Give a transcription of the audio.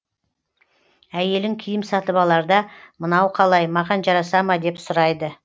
әйелің киім сатып аларда мынау қалай маған жараса ма деп сұрайды